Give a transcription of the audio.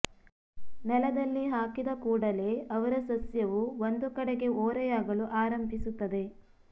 ನೆಲದಲ್ಲಿ ಹಾಕಿದ ಕೂಡಲೇ ಅವರ ಸಸ್ಯವು ಒಂದು ಕಡೆಗೆ ಓರೆಯಾಗಲು ಆರಂಭಿಸುತ್ತದೆ